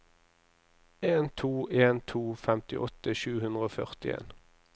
en to en to femtiåtte sju hundre og førtien